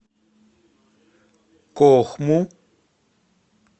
кохму